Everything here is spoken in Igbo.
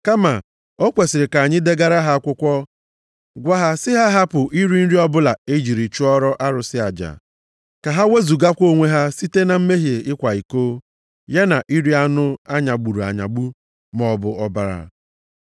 kama o kwesiri ka anyị degara ha akwụkwọ gwa ha sị ha hapụ iri nri ọbụla e ji chụọrọ arụsị aja. Ka ha wezugakwa onwe ha site na mmehie ịkwa iko, ya na iri anụ a nyagburu anyagbu, maọbụ ọbara.